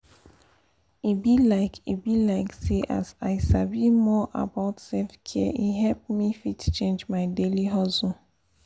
e be like e be like say as i sabi more about self-care e help me fit change my daily hustle.